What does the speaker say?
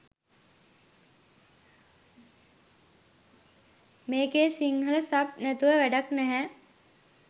මේකේ සිංහල සබ් නැතුව වැඩක් නැහැ